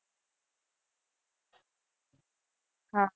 હા.